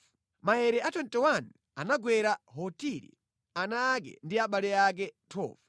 Maere a 21 anagwera Hotiri, ana ake ndi abale ake. 12